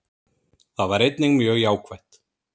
Það var einnig mjög jákvætt